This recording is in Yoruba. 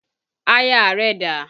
Aya rẹ dà?